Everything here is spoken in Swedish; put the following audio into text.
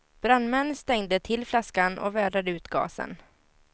Brandmän stängde till flaskan och vädrade ut gasen.